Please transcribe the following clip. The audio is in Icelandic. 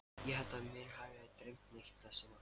Ég held að mig hafi ekki dreymt neitt þessa nótt.